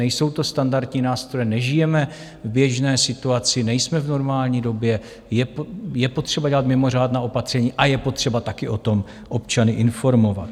Nejsou to standardní nástroje, nežijeme v běžné situaci, nejsme v normální době, je potřeba dělat mimořádná opatření a je potřeba také o tom občany informovat.